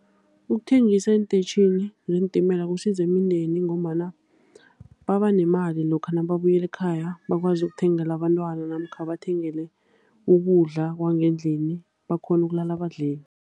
Ukuthengisa eentetjhini zeentimela kusiza imindeni ngombana baba nemali lokha nababuyela ekhaya, bakwazi ukuthengela abantwana namkha bathengele ukudla kwangendlini, bakghone ukulala badlile.